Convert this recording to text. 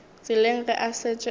tseleng ge a šetše a